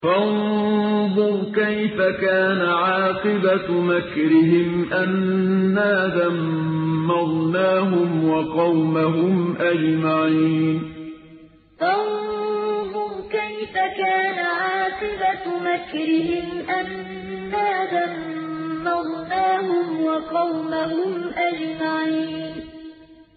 فَانظُرْ كَيْفَ كَانَ عَاقِبَةُ مَكْرِهِمْ أَنَّا دَمَّرْنَاهُمْ وَقَوْمَهُمْ أَجْمَعِينَ فَانظُرْ كَيْفَ كَانَ عَاقِبَةُ مَكْرِهِمْ أَنَّا دَمَّرْنَاهُمْ وَقَوْمَهُمْ أَجْمَعِينَ